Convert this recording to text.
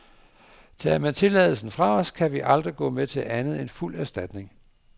Tager man tilladelsen fra os, kan vi aldrig gå med til andet end fuld erstatning.